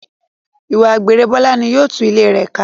Ìwà àgbèrè Bọ́lá ní yóò tu ilé rẹ ká.